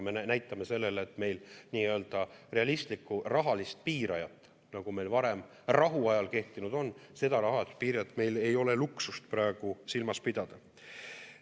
Me näitame sellega, et meil realistlikku rahalist piirajat, nagu meil varem rahuajal kehtinud on, seda rahalist piirajat meil ei ole luksust praegu silmas pidada.